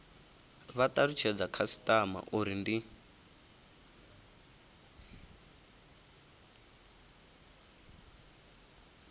vha talutshedza khasitama uri ndi